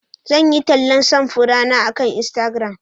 Zan yi tallan samfurana akan Instagram.